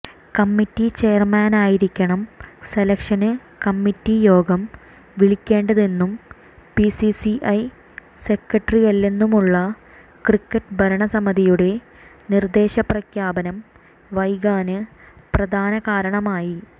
committee ചെയര്മാനായിരിക്കണം selection committee യോഗം വിളിക്കേണ്ടതെന്നും ബിസിസിഐ സെക്രട്ടറിയല്ലെന്നുമുള്ള ക്രിക്കറ്റ് ഭരണസമിതിയുടെ നിര്ദ്ദേശം പ്രഖ്യാപനം വൈകാന് പ്രധാന കാരണമായി